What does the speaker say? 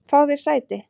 Fáðu þér sæti.